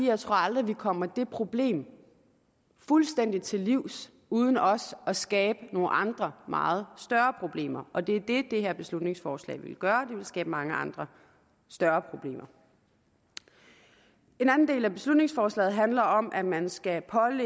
jeg tror aldrig vi kommer det problem fuldstændig til livs uden også at skabe nogle andre meget større problemer og det er det det her beslutningsforslag vil gøre det vil skabe mange andre større problemer en anden del af beslutningsforslaget handler om at man skal